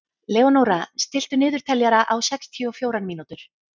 Leónóra, stilltu niðurteljara á sextíu og fjórar mínútur.